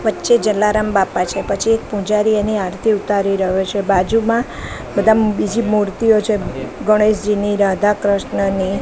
વચ્ચે જલારામ બાપા છે પછી એક પૂજારી એની આરતી ઉતારી રહ્યો છે બાજુમાં બધા બીજી મૂર્તિઓ છે ગણેશજીની રાધા કૃષ્ણની.